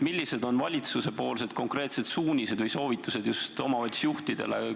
Millised on valitsuse konkreetsed suunised või soovitused just omavalitsuste juhtidele?